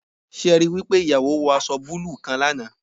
Se e ri wi pe iyawo wo aso buluu kan lana?